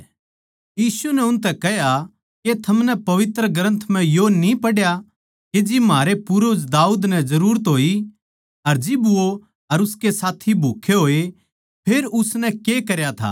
यीशु नै उनतै कह्या के थमनै पवित्र ग्रन्थ म्ह यो न्ही पढ़या के जिब म्हारे पूर्वज दाऊद नै जरूरत होई अर जिब वो अर उसके साथी भूक्खे होये फेर उसनै के करया था